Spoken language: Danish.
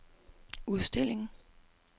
udstillingen